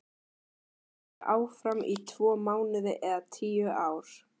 Verð ég áfram í tvo mánuði eða tíu ár?